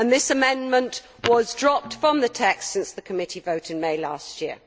That amendment has been dropped from the text since the committee vote in May last year.